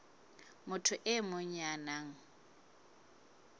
motho e mong ya nang